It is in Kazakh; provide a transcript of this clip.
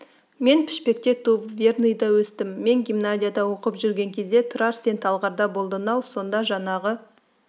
мен пішпекте туып верныйда өстім мен гимназияда оқып жүрген кезде тұрар сен талғарда болдың-ау сонда жаңағы